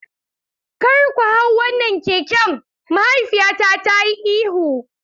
Kar ku hau wannan keken, mahaifiyata ta yi ihu.